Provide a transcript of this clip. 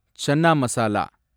chana masala